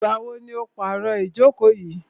Ìgbà wo ni o pàro ìjókò yìí?